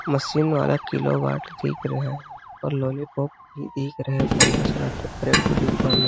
machine वाला kilowatt दिख रहे है और लॉलीपॉप भी दिख रहे है पन्द्र -सोलह ठो एक ठो डिब्बा में--